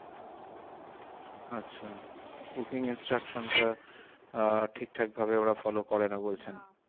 আচ্ছা cooking instruction টা আহ ঠিকঠাক ভাবে ওরা follow করেনা বলছেন?